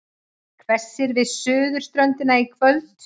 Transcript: Hvessir við suðurströndina í kvöld